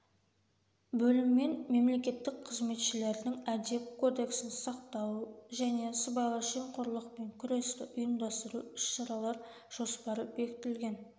бөліммен мемлекеттік қызметшілердің әдеп кодексін сақтау және сыбайлас жемқорлықпен күресті ұйымдастыру іс-шаралар жоспары бекітілген